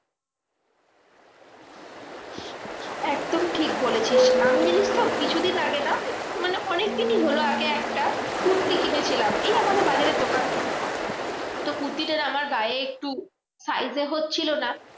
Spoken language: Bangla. একদম ঠিক বলেছিস। আমি জানিসতো কিছুদিন আগে না মানে অনেকদিনই হলো আগে একটা কুর্তি কিনেছিলাম। এই আমাদের বাজারের দোকান থেকে। তো কুর্তিটা আমার গায়ে একটু size এ হচ্ছিলো না।